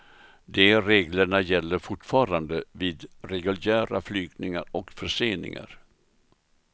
De reglerna gäller fortfarande vid reguljära flygningar och förseningar.